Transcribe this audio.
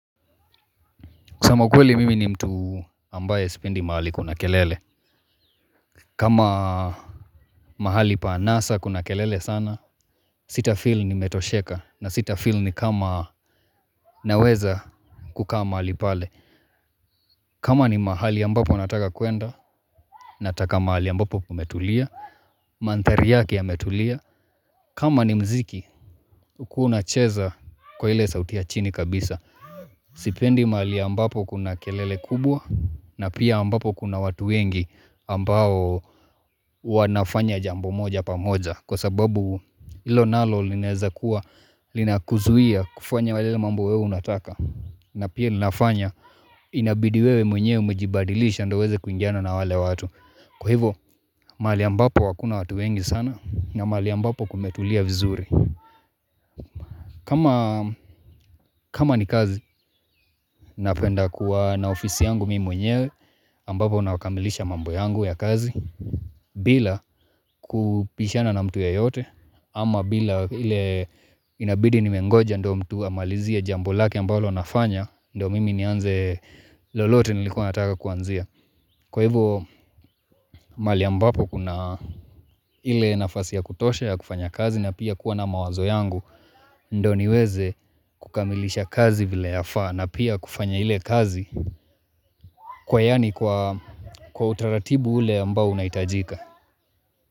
Kusema ukweli mimi ni mtu ambaye sipendi mahali kuna kelele. Kama mahali pa anasa kuna kelele sana, sitafeel nimetosheka na sitafeel ni kama naweza kukaa mahali pale. Kama ni mahali ambapo nataka kuenda, nataka mahali ambapo kumetulia, mandhari yake yametulia. Kama ni mziki, ukuwe unacheza kwa ile sauti ya chini kabisa. Sipendi mahali ambapo kuna kelele kubwa na pia ambapo kuna watu wengi ambao wanafanya jambo moja pamoja Kwa sababu ilo nalo linaweza kuwa linakuzuia kufanya wale mambo wewe unataka Na pia ninafanya inabidi wewe mwenyewe umejibadilisha ndo uweze kuingiana na wale watu Kwa hivo mali ambapo wakuna watu wengi sana na mali ambapo kumetulia vizuri Kama ni kazi, napenda kuwa na ofisi yangu mimi mwenyewe Ambapo unakamilisha mambo yangu ya kazi Bila kupishana na mtu ya yote ama bila ile inabidi ni mengoja ndo mtu amalizie jambo lake ambalo nafanya do mimi nianze lolote nilikuwa nataka kuanzia Kwa hivu mali ambapo kuna ile nafasi ya kutosha ya kufanya kazi Na pia kuwa na mawazo yangu ndo niweze kukamilisha kazi vile ya faa na pia kufanya ile kazi kwa yani kwa utaratibu ule ambao unaitajika.